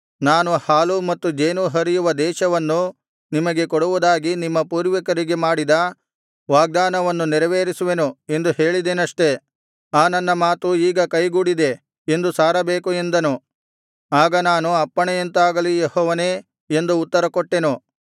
ನಾನು ಹಾಲೂ ಮತ್ತು ಜೇನೂ ಹರಿಯುವ ದೇಶವನ್ನು ನಿಮಗೆ ಕೊಡುವುದಾಗಿ ನಿಮ್ಮ ಪೂರ್ವಿಕರಿಗೆ ಮಾಡಿದ ವಾಗ್ದಾನವನ್ನು ನೆರವೇರಿಸುವೆನು ಎಂದು ಹೇಳಿದೆನಷ್ಟೆ ಆ ನನ್ನ ಮಾತು ಈಗ ಕೈಗೂಡಿದೆ ಎಂದು ಸಾರಬೇಕು ಎಂದನು ಆಗ ನಾನು ಅಪ್ಪಣೆಯಂತಾಗಲಿ ಯೆಹೋವನೇ ಎಂದು ಉತ್ತರಕೊಟ್ಟೆನು